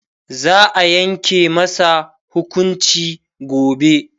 za'a Yanke masa hukunci gobe